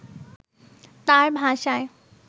তাঁর ভাষায়